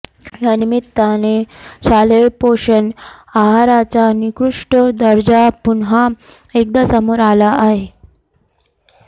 या निमित्ताने शालेय पोषण आहाराचा निकृष्ट दर्जा पुन्हा एकदा समोर आला आहे